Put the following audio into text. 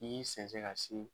N'i y'i sensɛn ka se